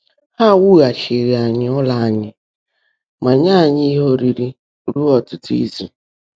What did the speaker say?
Há wùgháchiírí ányị́ ụ́lọ́ ányị́ mà nyèé ányị́ íhe óriirí rúó ọ́tụ́tụ́ ízù.